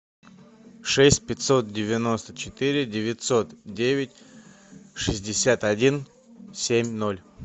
шесть пятьсот девяносто четыре девятьсот девять шестьдесят один семь ноль